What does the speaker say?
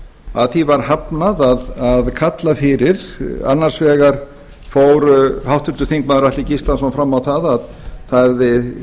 að því var hafnað að kalla fyrir annars vegar fór háttvirtir þingmenn atli gíslason fram á að það yrði